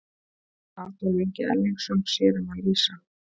Adolf Ingi Erlingsson sér um að lýsa.